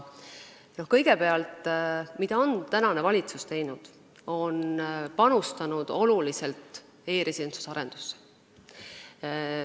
Kõigepealt, praegune valitsus on panustanud oluliselt e-residentsuse arendamisse.